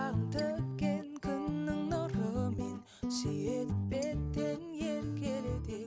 төккен күннің нұрымен сүйеді беттен еркелете